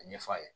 A ɲɛfɔ a ye